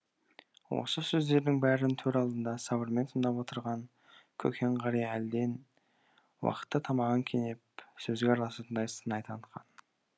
осы сөздедің бәрін төр алдында сабырмен тыңдап отырған көкен қария әлден уақытта тамағын кенеп сөзге араласатындай сыңай танытқан